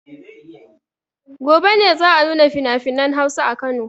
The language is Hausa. Gobe ne za a nuna finafinan Hausa a Kano.